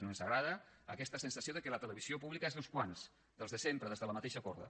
no ens agrada aquesta sensació que la televisió pública és d’uns quants dels de sempre dels de la mateixa corda